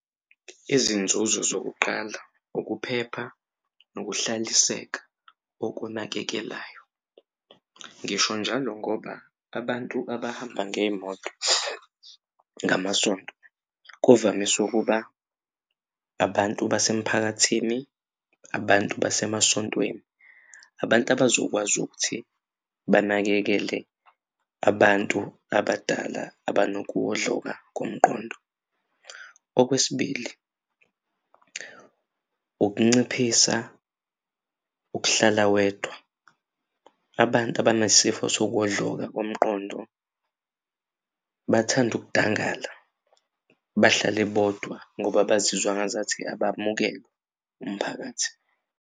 Izinzuzo zokuqala ukuphepha nokuhlaliseka okunakekelayo ngisho njalo ngoba abantu abahamba ngey'moto ngamasonto kuvamise ukuba abantu basemphakathini abantu basemasontweni abantu abazokwazi ukuthi banakekele abantu abadala abanokuwodloka komqondo. Okwesibili, ukunciphisa ukuhlala wedwa abantu abanesifo sokuwodloka komqondo bathand'ukudangala bahlale bodwa ngoba bazizwa ngazathi abamukelwe umphakathi.